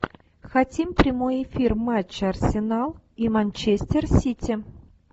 хотим прямой эфир матча арсенал и манчестер сити